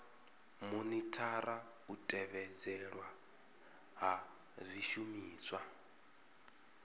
monithara u tevhedzelwa ha zwishumiswa